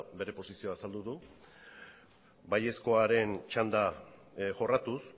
bere posizioa azaldu du baiezkoaren txanda jorratuz